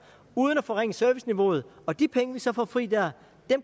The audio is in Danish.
uden at forringe serviceniveauet og de penge vi så får fri der